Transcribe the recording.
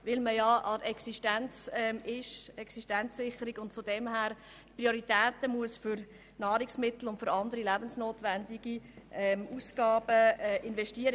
Dies, weil man an der Existenzsicherung ist und daher die Prioritäten für Nahrungsmittel und andere lebensnotwendige Ausgaben setzen muss.